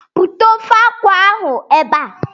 Bute ofe akwụ ahụ ebe a!